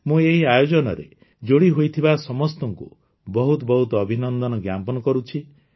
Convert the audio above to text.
ମୁଁ ଏହି ଆୟୋଜନରେ ଯୋଡ଼ିହୋଇଥିବା ସମସ୍ତଙ୍କୁ ବହୁତ ବହୁତ ଅଭିନନ୍ଦନ ଜ୍ଞାପନ କରୁଛି